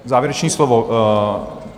Závěrečné slovo?